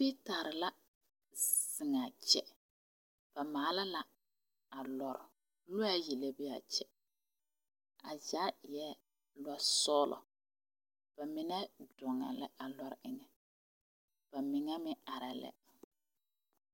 Fitare la zeŋa kyɛ. Ba maala la a lɔre. Lɔe ayi la be a kyɛ. A zaa eɛ lɔ sɔglɔ. Ba mene doŋe la a lɔre eŋe. Ba mene meŋ areɛ lɛ.